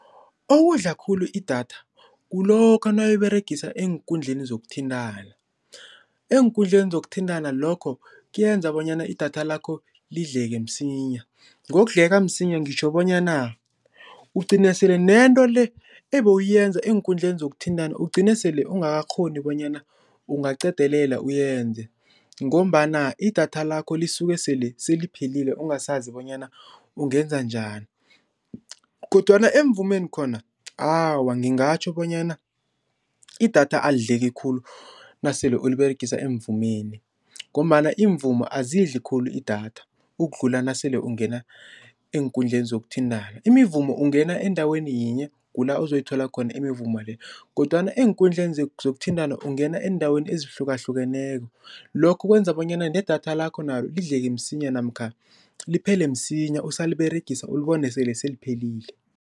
Okudla khulu i-data, kulokha nawuyiberegisa eenkundleni zokuthintana. Eenkundleni zokuthintana lokho kuyenza bonyana i-data lakho lidleke msinya, ngokudleka msinya ngitjho bonyana ugcine sele nento le ebewuyenza eenkundleni zokuthintana ugcine sele ungakakghoni bonyana ungaqedelela uyenze ngombana i-data lakho lisuke sele seliphelile ungasazi bonyana ungenza njani kodwana emvumeni khona, awa ngingatjho bonyana i-data alidleki khulu nasele uliberegisa emvumeni ngombana imivumo azidli khulu i-data ukudlula nasele ungena eenkundleni zokuthintana. Imivumo ungena endaweni yinye kula ozoyithola khona imivumo le kodwana eenkundleni zokuthintana ungena eendaweni ezihlukahlukeneko lokho kwenza bonyana ne-data lakho nalo lidleke msinya namkha liphele msinya usaliberegisa ulibone sele seliphelile.